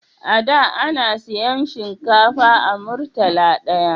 A da ana siyan shinkafa a murtala daya